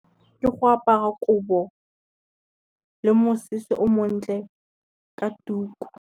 Ke go apara kobo, le mosese o montle ka tuku.